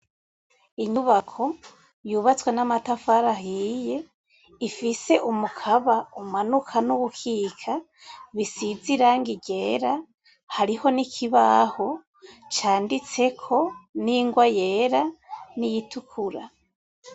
Inyubako yubatswe n'amatafari ahiye ifise umukaba umanuka n'uwukika bisize irangi ryera, hariho n'ikibaho canditseko n'ingwa yera, n'iyitukura.